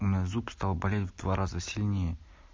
мой зуб стал болеть раза сильнее